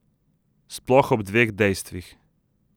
Sploh ob dveh dejstvih.